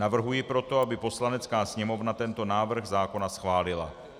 Navrhuji proto, aby Poslanecká sněmovna tento návrh zákona schválila.